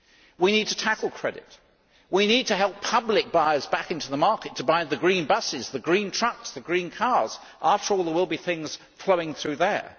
We need to tackle credit we need to help public buyers back into the market to buy the green buses, the green trucks, the green cars after all, there will be things following through there.